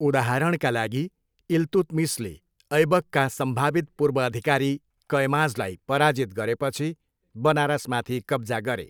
उदाहरणका लागि, इल्तुत्मिसले ऐबकका सम्भावित पूर्वअधिकारी कयमाजलाई पराजित गरेपछि बनारसमाथि कब्जा गरे।